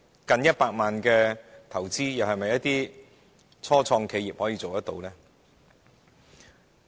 近100萬元的投資，又是否初創企業所能負擔？